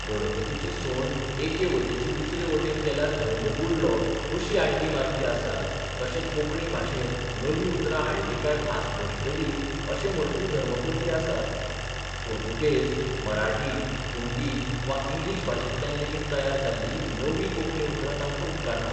गणपतीची सोंड एके वटेची दुसरे बटेन गेल्यार धर्म बुडलो अशी आड्डी मारपी आसात तशे कोंकणी भाशेंत नवीं उतरां हाडलीं काय भास भश्टली अशें म्हणपीय धर्मकोल्ली आसात पुर्तुगेज, मराठी, हिंदी वा इंग्लीश भाशेंतल्यान लेगीत तयार जाल्लीं नवीं कोंकणी उतरां तांकां उपकारनात.